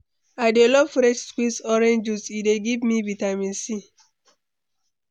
I dey love fresh squeezed orange juice, e dey give me vitamin c.